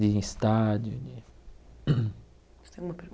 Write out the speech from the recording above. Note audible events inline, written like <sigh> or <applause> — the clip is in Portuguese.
De ir em estádio, de... <coughs> Você tem alguma